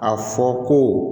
A fɔ ko